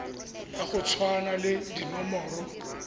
ya go tshwana le dinomoro